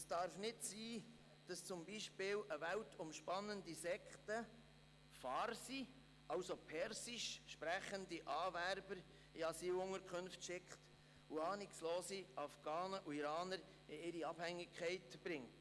Es darf nicht sein, dass beispielsweise eine weltumspannende Sekte farsi, also persisch, sprechende Anwerber in Asylunterkünfte schickt und ahnungslose Afghanen und Iraner in ihre Abhängigkeit bringt.